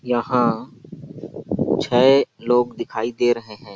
यहाँ छय लोग दिखाई दे रहे है।